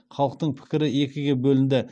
халықтың пікірі екіге бөлінді